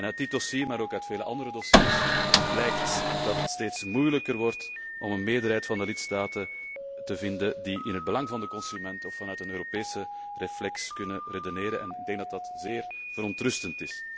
Uit dit dossier, maar ook uit vele andere dossiers blijkt dat het steeds moeilijker wordt om een meerderheid van de lidstaten te vinden die in het belang van de consument of vanuit een Europese optiek kunnen redeneren en ik vind dat zeer verontrustend.